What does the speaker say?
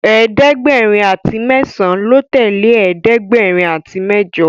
ẹ̀ẹ́dẹ̀gbẹ̀rin àti mesan ló tẹlẹ ẹ̀ẹ́dẹ̀gbẹ̀rin àti mẹjọ.